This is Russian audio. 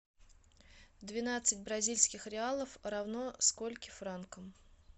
двенадцать бразильских реалов равно скольким франкам